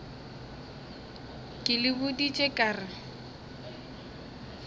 ke le boditše ka re